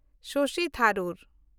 ᱥᱚᱥᱤ ᱛᱷᱟᱨᱩᱨ